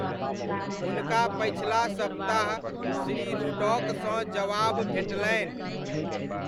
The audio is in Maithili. हुनका पछिला सप्ताह श्री रुडॉकसँ जवाब भेटलनि।